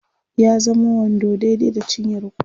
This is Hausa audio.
ya zamo wando daidai da cinyar kowa